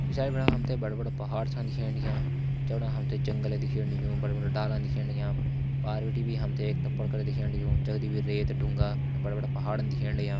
पिछाड़ी बिटि हम त बड़ा बड़ा पहाड़ छ दिखेण लग्यां जंगल दिखेण लग्युं बड़ा बड़ा डाला दिखेण लग्यां। पार बिटि भी हम त एक तपर दिखेण लग्युं जगदी रेत ढुंगा बड़ा बड़ा पहाड़ दिखेण लग्यां।